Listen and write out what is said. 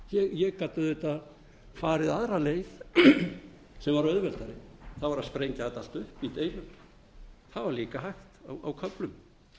ég gat auðvitað farið aðra leið sem var auðveldari það var að sprengja þetta allt upp í einu það var líka hægt á köflum